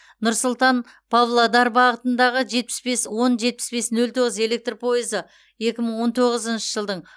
нұр сұлтан павлодар бағытында жетпіс бес он жетпіс бес нөл тоғыз электр пойызы екі мың он тоғызыншы жылдың